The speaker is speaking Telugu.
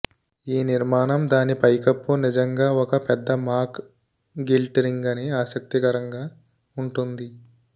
ఈ నిర్మాణం దాని పైకప్పు నిజంగా ఒక పెద్ద మాక్ గిల్ట్ రింగ్ అని ఆసక్తికరంగా ఉంటుంది